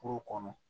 Kuru kɔnɔ